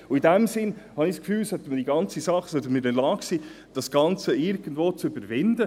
In diesem Sinn habe ich das Gefühl, wir sollten in der Lage sein, das Ganze irgendwie zu überwinden.